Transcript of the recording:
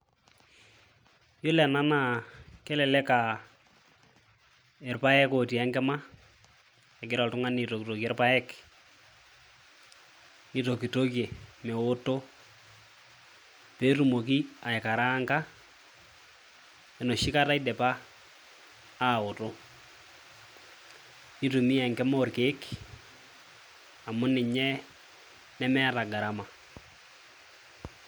Iyiolo ena naa kelelek a irpaek lotii enkima, egira oltung'ani aitokitokie irpaek, nitokitokie meoto pee eumoki aikaraanka enoshi kata idipa aoto. Nitumia enkima orkeek amu ninye neeta gharama.